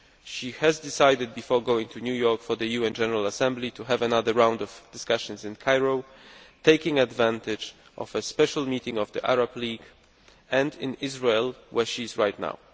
She has decided, before going to New York for the UN General Assembly, to have another round of discussions in Cairo taking advantage of a special meeting of the Arab League and in Israel, where she is now.